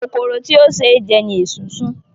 Kòkòrò tí ó ṣe é jẹ ni esunsun.